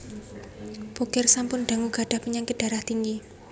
Bokir sampun dangu gadhah penyakit darah tinggi